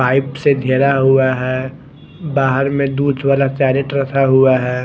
Pipe से गेरा हुआ है बाहर में दूध वाला केरेट रखा हुआ है।